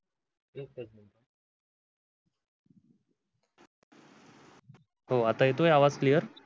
हो आता येतोय आवाज clear?